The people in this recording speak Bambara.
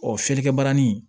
Ɔ fiyɛlikɛ barani